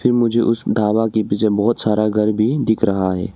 ये मुझे उस ढाबा के पीछे बहोत सारा घर भी दिख रहा है।